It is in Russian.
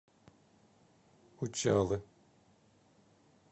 учалы